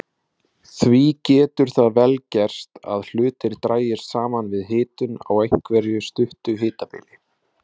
Því getur það vel gerst að hlutir dragist saman við hitun á einhverju stuttu hitabili.